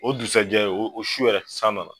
O du sajɛ, o su yɛrɛ san nana .